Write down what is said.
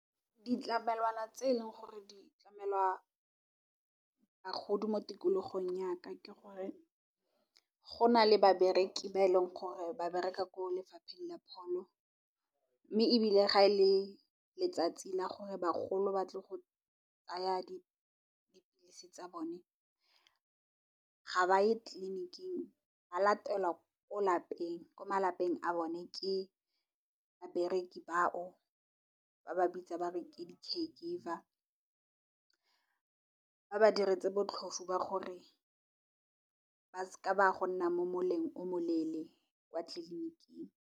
Ditlamelwana tse e leng gore di tlamelwa bagodi mo tikologong yaka ke gore go na le babereki ba e leng gore ba bereka ko lefapheng la pholo. Mme, ebile ga e le letsatsi la gore bagolo ba tle go tsaya dipilisi tsa bone ga ba ye tleliniking ba latelwa ko malapeng a bone ke babereki bao. Ba ba bitsa bare ke di caregiver ba ba diretse botlhofo ba gore ba seke ba go nna mo moleng o moleele kwa tleliniking.